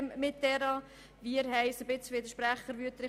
Es geht uns ähnlich wie Grossrat Wüthrich: